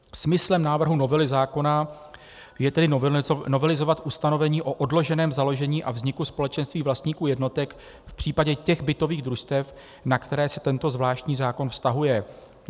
Smyslem návrhu novely zákona je tedy novelizovat ustanovení o odloženém založení a vzniku společenství vlastníků jednotek v případě těch bytových družstev, na která se tento zvláštní zákon vztahuje.